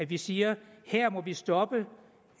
vi siger her må vi stoppe